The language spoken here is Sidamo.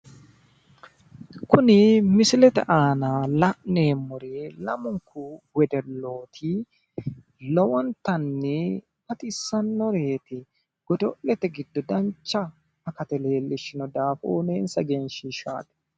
Kuni misilete aana la'neemmori lamunku wedellooti lowontanni baxissannoreeti godo'lete giddo dancha akate leellishi daafo uuyiineensa egenshiishshaati.